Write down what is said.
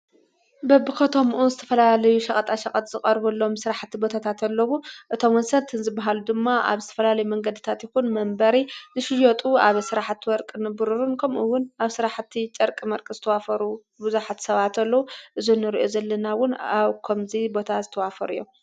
በብኸቶምኡ ዝተፈላልዩ ሸቐጣ ሸቐት ዝቐርቡ ሎም ሥራሕቲ ቦታታ ተሎቡ እቶም ወሰርትንዝበሃሉ ድማ ኣብ ዝተፈላልይ መንገድ ታትኹን መንበሪ ዝሽዮጡ ኣብ ሥራሕቲ ወርቂ ንብሩሩን ከምኡውን ኣብ ሥራሕቲ ጨርቂ መርቂ ዘተዋፈሩ ብዙኃት ሰባተለዉ እዙኑርእዩ ዘለናውን ኣብከምዙይ ቦታ ዝተዋፈሩ እዮም።